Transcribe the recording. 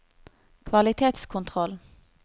kvalitetskontroll